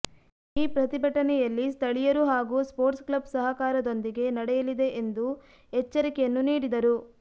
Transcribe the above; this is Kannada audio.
ಈ ಪ್ರತಿಭಟನೆಯಲ್ಲಿ ಸ್ಥಳಿಯರು ಹಾಗೂ ಸ್ಪೊಟ್ಸ ಕ್ಲಬ್ ಸಹಕಾರದೊಂದಿಗೆ ನಡೆಯಲಿದೆ ಎಂದು ಎಚ್ಚರಿಕೆಯನ್ನು ನೀಡಿದರು